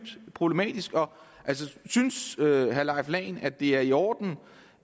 problematisk synes herre leif lahn at det er i orden